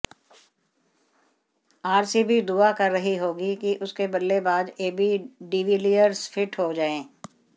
RCB दुआ कर रही होगी कि उसके बल्लेबाज एबी डीविलियर्स फिट हो जाएं